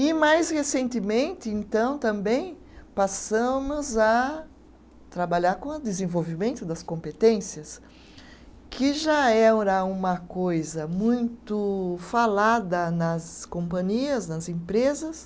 e mais recentemente então também passamos a trabalhar com a desenvolvimento das competências que já era uma coisa muito falada nas companhias nas empresas